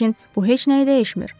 Lakin bu heç nəyi dəyişmir.